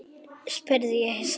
spurði ég hissa.